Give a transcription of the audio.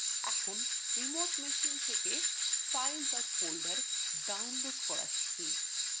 এখন remote machine থেকে file বা folder download করা শিখি